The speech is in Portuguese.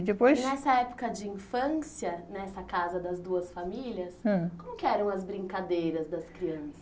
Depois... E nessa época de infância, nessa casa das duas famílias, ãh, como que eram as brincadeiras das crianças?